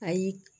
Ayi